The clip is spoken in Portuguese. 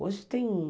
Hoje tem um.